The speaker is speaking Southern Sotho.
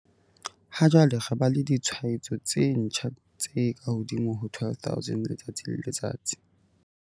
Ha jwale re ba le ditshwaetso tse ntjha tse kahodimo ho 12 000 letsatsi le letsatsi.